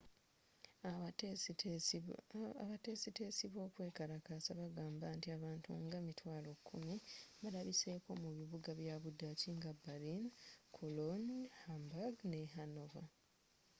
abateesiteesi b'okwekalakasa bagamba nti abantu nga 100,000 balabiseko mu bibuga bya budaaki nga berlin cologne hamburg ne hanover